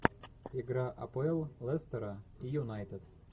игра апл лестера и юнайтед